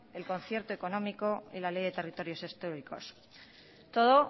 el concierto económico y la ley de territorios históricos todo